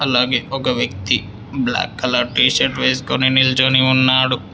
అలాగే ఒక వ్యక్తి బ్లాక్ కలర్ టీషర్ట్ వేసుకొని నిల్చుని ఉన్నాడు.